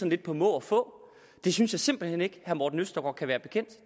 lidt på må og få det synes jeg simpelt hen ikke herre morten østergaard kan være bekendt